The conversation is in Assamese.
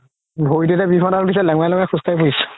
ভৰিত এতিয়া বিষত লেনংৰাই লেনংৰাই খোজ কাঢ়িছো